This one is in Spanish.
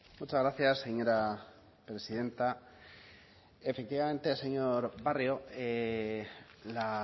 muchas gracias señora presidenta efectivamente señor barrio la